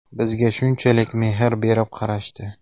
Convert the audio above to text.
Bizga shunchalik mehr berib qarashdi.